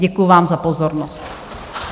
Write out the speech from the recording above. Děkuji vám za pozornost.